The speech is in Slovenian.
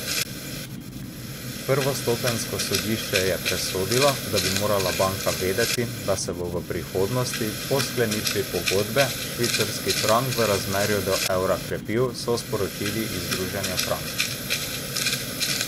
Prvostopenjsko sodišče je presodilo, da bi morala banka vedeti, da se bo v prihodnosti, po sklenitvi pogodbe, švicarski frank v razmerju do evra krepil, so sporočili iz Združenja Frank.